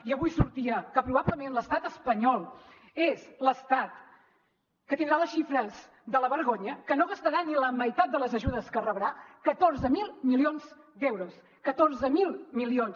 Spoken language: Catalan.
i avui sortia que probablement l’estat espanyol és l’estat que tindrà les xifres de la vergonya que no gastarà ni la meitat de les ajudes que rebrà catorze mil milions d’euros catorze mil milions